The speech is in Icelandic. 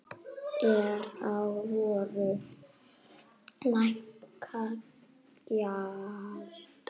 Er á vöru lækkað gjald.